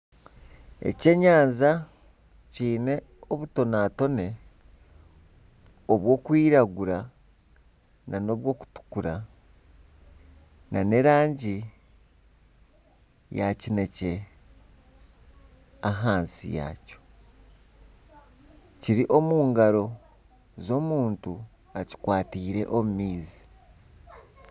Ekyenyanja kiine obutonatone oburikwiragura nana oburikutukura nana erangi ya kinekye ahansi yakyo. Kiri omu ngaro z'omuntu okikwatiire omu maizi.